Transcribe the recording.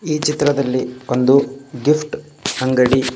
ಈ ಚಿತ್ರದಲ್ಲಿ ಒಂದು ಗಿಫ್ಟ್ ಅಂಗಡಿ.